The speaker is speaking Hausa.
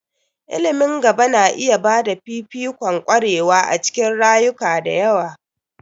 Ilimin gaba na iya ba da fifikon ƙwarewa a cikin yaruka da yawa.